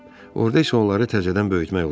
Orda isə onları təzədən böyütmək olar.